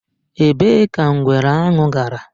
Èbée ka ngwere ahụ gara?